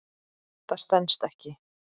Það stenst ekki.